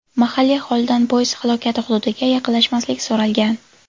Mahalliy aholidan poyezd halokati hududiga yaqinlashmaslik so‘ralgan.